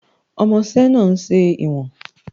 Ọmọṣẹ́ náà ń ṣe ìwọ̀n